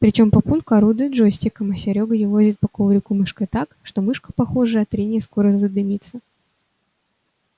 причём папулька орудует джойстиком а серёга елозит по коврику мышкой так что мышка похоже от трения скоро задымится